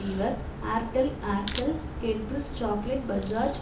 இவர் Airtel Aircel Cadbury's chocolate Bajaj